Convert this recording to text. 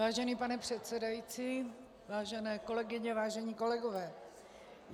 Vážený pane předsedající, vážené kolegyně, vážení kolegové.